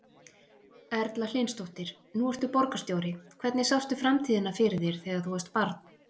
Erla Hlynsdóttir: Nú ertu borgarstjóri, hvernig sástu framtíðina fyrir þér þegar þú varst barn?